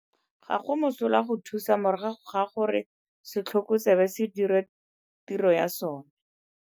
Ga go mosola go thusa morago ga gore setlhoko tsebe se dire tiro ya sona.